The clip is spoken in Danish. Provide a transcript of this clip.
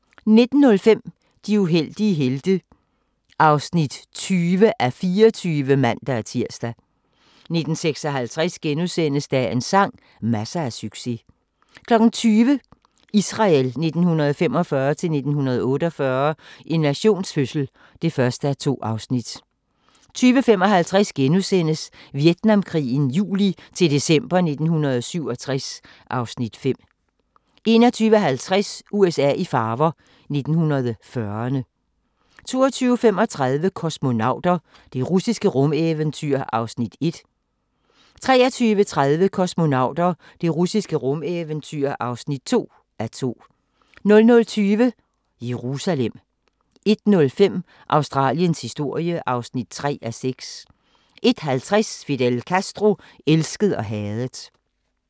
19:05: De uheldige helte (20:24)(man-tir) 19:56: Dagens sang: Masser af succes * 20:00: Israel 1945-1948 – en nations fødsel (1:2) 20:55: Vietnamkrigen juli-december 1967 (Afs. 5)* 21:50: USA i farver – 1940'erne 22:35: Kosmonauter – det russiske rumeventyr (1:2) 23:30: Kosmonauter – det russiske rumeventyr (2:2) 00:20: Jerusalem 01:05: Australiens historie (3:6) 01:50: Fidel Castro – elsket og hadet